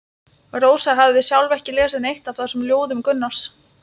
Rósa hafði sjálf ekki lesið neitt af þessum ljóðum Gunnars.